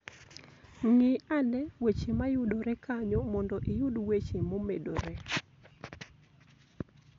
Ng'i ane weche ma yudore kanyo mondo iyud weche momedore.